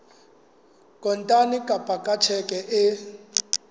kontane kapa ka tjheke e